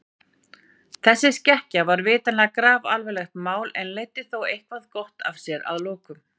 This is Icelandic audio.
Þessi skekkja var vitanlega grafalvarlegt mál en leiddi þó eitthvað gott af sér að lokum.